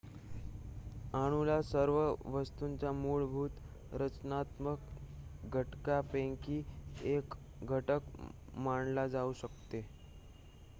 अणूला सर्व वस्तूंच्या मूलभूत रचनात्मक घटकांपैकी 1 घटक मानला जाऊ शकतो